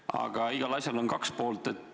Aga igal asjal on kaks poolt.